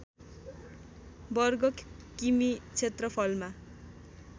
वर्ग किमि क्षेत्रफलमा